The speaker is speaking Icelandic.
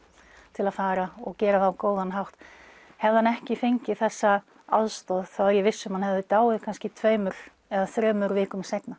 til að fara og gera það á góðan hátt hefði hann ekki fengið þessa aðstoð þá er ég viss um að hann hefði dáið kannski tveimur eða þremur vikum seinna